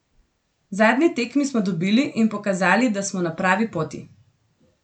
Zadnji tekmi smo dobili in pokazali, da smo na pravi poti.